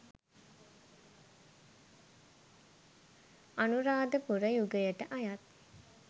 අනුරාධපුර යුගයට අයත්